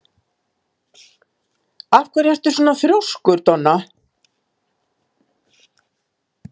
Af hverju ertu svona þrjóskur, Donna?